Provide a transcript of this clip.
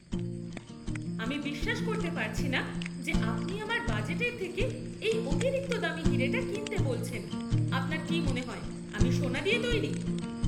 আমি বিশ্বাস করতে পারছি না যে আপনি আমার বাজেটের থেকে এই অতিরিক্ত দামি হিরেটা কিনতে বলছেন! আপনার কি মনে হয় আমি সোনা দিয়ে তৈরি?